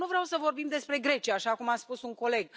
Dar nu vreau să vorbim despre Grecia, așa cum a spus un coleg.